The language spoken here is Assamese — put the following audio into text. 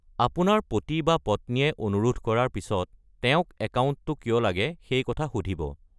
আপোনাৰ পতি বা পত্নীয়ে অনুৰোধ কৰাৰ পিছত তেওঁক একাউণ্টটো কিয় লাগে সেই কথা সুধিব।